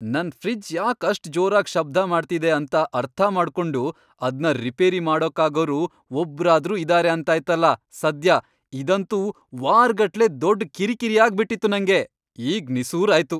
ನನ್ ಫ್ರಿಡ್ಜ್ ಯಾಕ್ ಅಷ್ಟ್ ಜೋರಾಗ್ ಶಬ್ದ ಮಾಡ್ತಿದೆ ಅಂತ ಅರ್ಥಮಾಡ್ಕೊಂಡು ಅದ್ನ ರಿಪೇರಿ ಮಾಡಕ್ಕಾಗೋರು ಒಬ್ರಾದ್ರೂ ಇದಾರೆ ಅಂತಾಯ್ತಲ ಸದ್ಯ, ಇದಂತೂ ವಾರ್ಗಟ್ಲೆ ದೊಡ್ಡ್ ಕಿರಿಕಿರಿ ಆಗ್ಬಿಟಿತ್ತು ನಂಗೆ! ಈಗ್ ನಿಸೂರಾಯ್ತು.